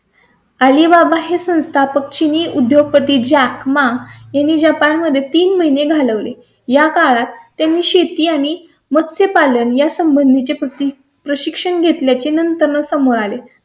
Alibaba हे संस्थापक चिनी उद्योगपती जॅक मा यांनी जपान मध्ये तीन महिने घालवले. या काळात त्यांनी शेती आणि मत्स्य पालन यासंबंधीचे प्रती प्रशिक्षण घेतल्या चे नंतर समोर आले. त्यानंतर ते शेतीकडे वळणार असल्या चा अंदाज आहे.